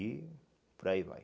E por aí vai.